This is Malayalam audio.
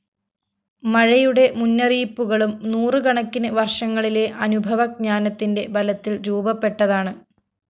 മഴയുടെ മുന്നറിയിപ്പുകളും നൂറുകണക്കിന് വര്‍ഷങ്ങളിലെ അനുഭവ ജ്ഞാനത്തിന്റെ ബലത്തില്‍ രൂപപ്പെട്ടതാണ്